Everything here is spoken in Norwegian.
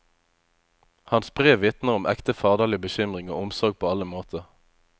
Hans brev vitner om ekte faderlig bekymring og omsorg på alle måter.